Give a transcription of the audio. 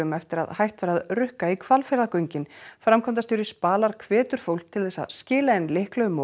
eftir að hætt var að rukka í Hvalfjarðargöngin framkvæmdastjóri Spalar hvetur fólk til þess að skila inn lyklum og